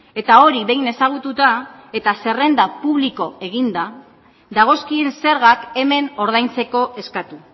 eta hori behin ezagututa eta zerrenda publiko eginda dagozkien zergak hemen ordaintzeko eskatu